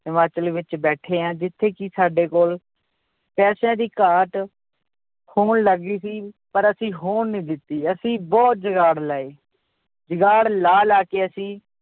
ਹਿਮਾਚਲ ਵਿੱਚ ਬੈਠੇ ਹਾਂ ਜਿੱਥੇ ਕਿ ਸਾਡੇ ਕੋੋਲ ਪੈਸਿਆਂ ਦੀ ਘਾਟ ਹੋਣ ਲੱਗ ਗਈ ਸੀ ਪਰ ਅਸੀਂ ਹੋਣ ਨੀ ਦਿੱਤੀ, ਅਸੀਂ ਬਹੁਤ ਜੁਗਾੜ ਲਾਏ, ਜੁਗਾੜ ਲਾ ਲਾ ਕੇ ਅਸੀਂ